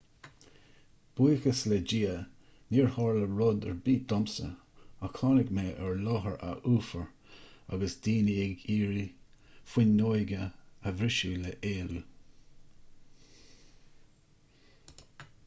buíochas le dia níor tharla rud ar bith domsa ach tháinig mé ar láthair adhfhuafar agus daoine ag iarraidh fuinneoga a bhriseadh le héalú